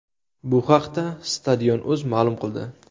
Bu haqda Stadion.uz ma’lum qildi .